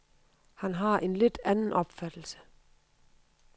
Han har en lidt anden opfattelse.